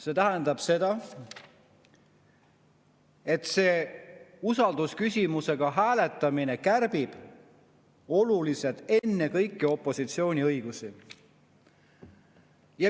See tähendab seda, et usaldusküsimusega hääletamine kärbib oluliselt ennekõike opositsiooni õigusi.